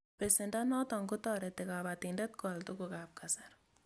Pesendo notok ko tareti kabatindet ko al tuguk ab kasari